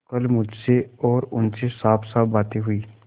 कल मुझसे और उनसे साफसाफ बातें हुई